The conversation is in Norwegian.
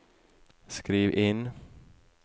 skriv inn